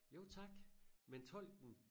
Jo tak men tolken